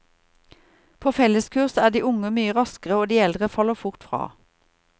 På felleskurs er de unge mye raskere og de eldre faller fort fra.